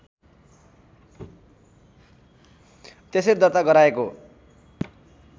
त्यसरी दर्ता गराएको